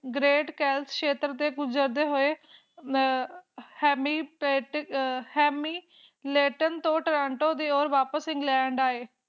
great self help group ਉਜਾਗਰ ਹੋਏ ਮੈਂ ਭੀ ਕਰਨ ਲੜਾਈ ਲੜਣ ਤੋਂ ਟਰਾਂਟੋ ਦਿਓਰ ਵਾਪਸ ਇੰਗਲੈਂਡ ਆਏ